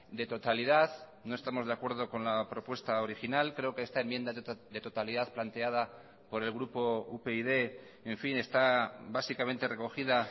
de totalidad no estamos de acuerdo con la propuesta original creo que esta enmienda de totalidad planteada por el grupo upyd en fin está básicamente recogida